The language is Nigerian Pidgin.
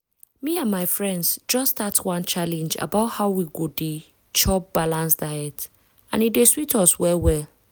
me and my friends just start one challenge about how we go dey chop balanced diet and e dey sweet us well well.